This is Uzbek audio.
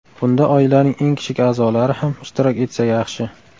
Bunda oilaning eng kichik a’zolari ham ishtirok etsa yaxshi.